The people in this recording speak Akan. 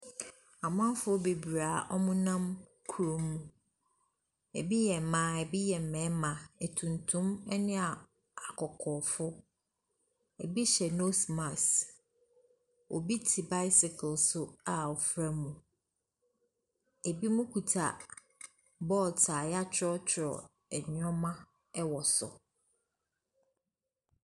Amanfoɔ bebree a wɔnam kurom. Ɛbi yɛ mmaa, ɛbi yɛ mmarima, atutum ne a akɔkɔɔfoɔ. Ɛbi hyɛ nose mask. Obi te bicycle so a ɔfra mu. Ɛbinom kuta board a wɔatwerɛtwerɛ nneɛma wɔ so.